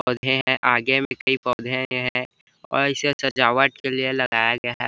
पौधे है आगे में पौधे है ऐसेही सजवाट के लिया लगाया हुआ है।